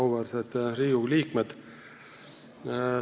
Auväärsed Riigikogu liikmed!